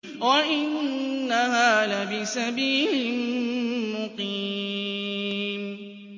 وَإِنَّهَا لَبِسَبِيلٍ مُّقِيمٍ